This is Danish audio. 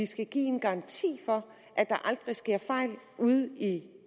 skal give en garanti for at der aldrig sker fejl ude i